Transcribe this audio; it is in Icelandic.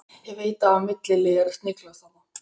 Ég veit að það var milliliður að sniglast þarna.